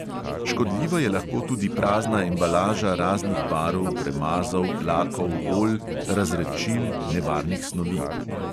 Škodljiva je lahko tudi prazna embalaža raznih barv, premazov, lakov, olj, razredčil, nevarnih snovi.